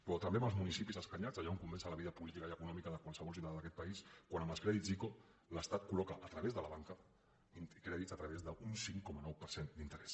però també en els municipis escanyats allà on comença la vida política i econòmica de qualsevol ciutadà d’aquest país quan amb els crèdits ico l’estat colloca a través de la banca crèdits amb un cinc coma nou per cent d’interès